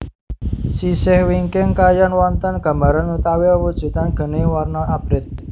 Sisih wingking kayon wonten gambaran utawi wewujudan geni warna abrit